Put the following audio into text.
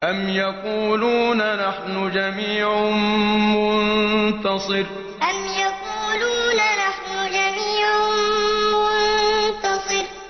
أَمْ يَقُولُونَ نَحْنُ جَمِيعٌ مُّنتَصِرٌ أَمْ يَقُولُونَ نَحْنُ جَمِيعٌ مُّنتَصِرٌ